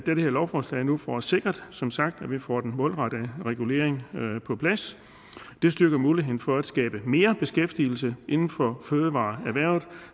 med det her lovforslag nu får sikret som sagt at vi får den målrettet regulering på plads det styrker muligheden for at skabe mere beskæftigelse inden for fødevareerhvervet